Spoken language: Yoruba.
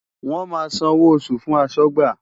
Wọ́n máa san owó oṣù fún aṣọ́gbà.